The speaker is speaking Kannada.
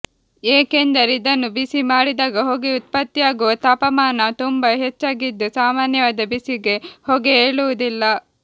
ಏಕೆಂದರೆ ಇದನ್ನು ಬಿಸಿ ಮಾಡಿದಾಗ ಹೊಗೆ ಉತ್ಪತ್ತಿಯಾಗುವ ತಾಪಮಾನ ತುಂಬಾ ಹೆಚ್ಚಾಗಿದ್ದು ಸಾಮಾನ್ಯವಾದ ಬಿಸಿಗೆ ಹೊಗೆ ಏಳುವುದಿಲ್ಲ